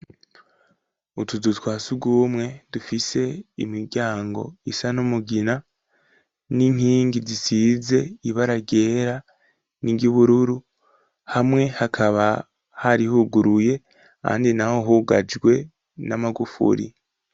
Utuzuzwa si ugumwe dufise imiryango isa n'umugina n'inkingi zisize ibara ryera ningibururu hamwe hakaba harihuguruye andi na ho hugajwe n'amagufuri.